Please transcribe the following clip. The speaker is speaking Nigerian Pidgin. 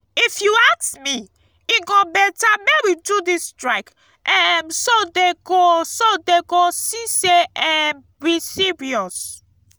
if you ask me e go beta make we do dis strike um so dey go so dey go see say um we serious